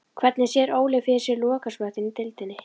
Hvernig sér Óli fyrir sér lokasprettinn í deildinni?